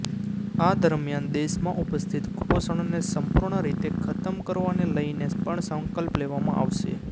આ દરમિયાન દેશમાં ઉપસ્થિત કુપોષણને સંપૂર્ણ રીતે ખતમ કરવાને લઈને પણ સંકલ્પ લેવામાં આવશે